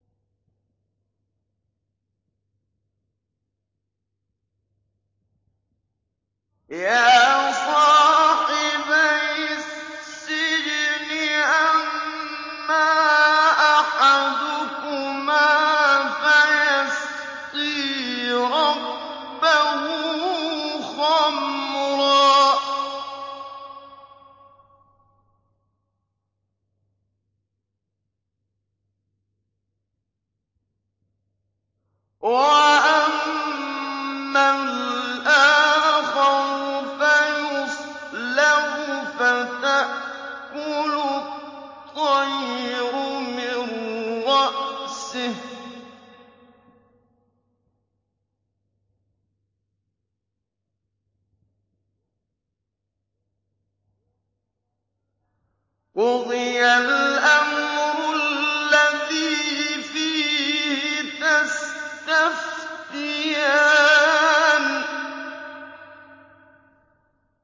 يَا صَاحِبَيِ السِّجْنِ أَمَّا أَحَدُكُمَا فَيَسْقِي رَبَّهُ خَمْرًا ۖ وَأَمَّا الْآخَرُ فَيُصْلَبُ فَتَأْكُلُ الطَّيْرُ مِن رَّأْسِهِ ۚ قُضِيَ الْأَمْرُ الَّذِي فِيهِ تَسْتَفْتِيَانِ